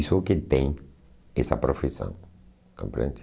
Isso é o que tem essa profissão, compreende?